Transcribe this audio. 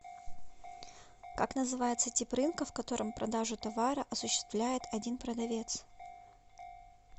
как называется тип рынка в котором продажу товара осуществляет один продавец